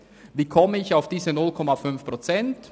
Wie komme ich auf diese 0,5 Prozent?